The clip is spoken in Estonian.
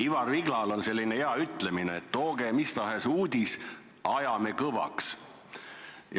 Ivar Viglal on selline hea ütlemine, et tooge mis tahes uudis, ajame kõvaks.